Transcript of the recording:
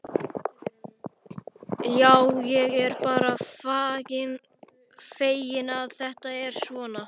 Já, ég er bara feginn að þetta fór svona.